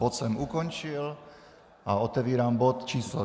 Bod jsem ukončil a otevírám bod číslo